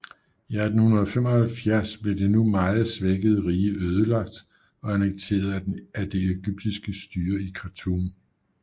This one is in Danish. I 1875 blev det nu meget svækkede rige ødelagt og annekteret af det egyptiske styre i Khartoum